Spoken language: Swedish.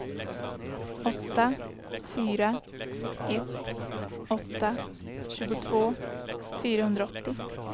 åtta fyra ett åtta tjugotvå fyrahundraåttio